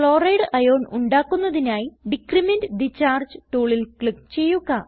chloride ion ഉണ്ടാക്കുന്നതിനായി decrement the charge ടൂളിൽ click ചെയ്യുക